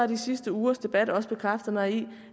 de sidste ugers debat også bekræftet mig i